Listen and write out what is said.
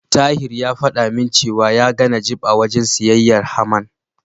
Tahir ya fada min cewa ya ga Najeeb a wajen siyayyar Haman.